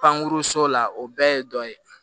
Pankurun so la o bɛɛ ye dɔ ye